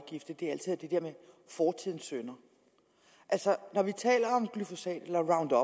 jeg med fortidens synder altså når vi taler om glyfosat eller roundup